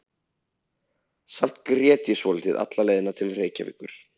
En samt grét ég svolítið alla leið til Reykjavíkur.